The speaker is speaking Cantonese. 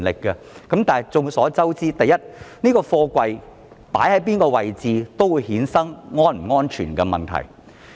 然而眾所周知，不論貨櫃放在哪一個位置，也會衍生安全問題。